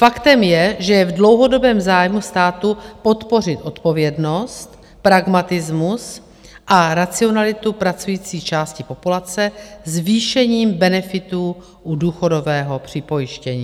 Faktem je, že je v dlouhodobém zájmu státu podpořit odpovědnost, pragmatismus a racionalitu pracující části populace zvýšením benefitů u důchodového připojištění.